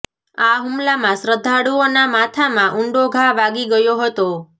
આ હુમલામાં શ્રદ્ધાળુઓનાં માથામા ઉંડો ઘા વાગી ગયો હતો